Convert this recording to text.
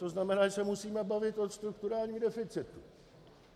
To znamená, že se musíme bavit o strukturálním deficitu.